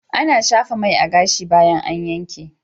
Ana shafa mai a gashi bayan an yanke.